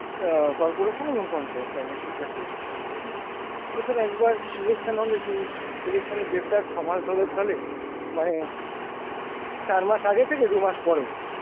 অ্যাঁ corporation এবং পঞ্চায়েত চার বছরে চারটে election হয়, ঠিক আছে? বছরে একবার election হলে সেই election এর জেরটা ছ-মাস ধরে চলে মানে চার মাস আগে থেকে দুমাস পরেও